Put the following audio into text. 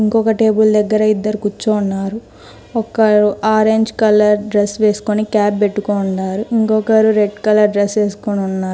ఇంకొక టేబుల్ దగ్గర ఇద్దరు కూర్చోన్నారు. ఒక్కరు ఆరెంజ్ కలర్ డ్రెస్ వేసుకొని క్యాప్ పెట్టుకోండారు. ఇంకొకరు రెడ్ కలర్ డ్రెస్ ఏస్కొనున్నారు.